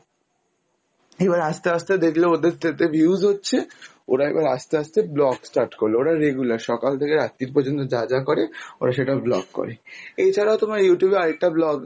এবার আস্তে আস্তে দেখল ওদের যেহেতু views হচ্ছে, ওরা এবার আস্তে আস্তে vlog start করলো, ওরা regular সকাল থেকে রাত্রি পর্যন্ত যা যা করে ওরা সেটা vlog করে। এছাড়াও তোমার Youtube এ আরেকটা vlog